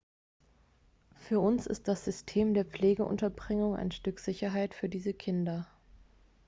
für uns ist das system der pflegeunterbringung ein stück sicherheit für diese kinder